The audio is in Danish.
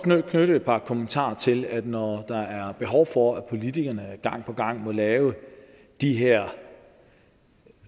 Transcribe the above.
knytte et par kommentarer til at når der er behov for at politikerne gang på gang må lave de her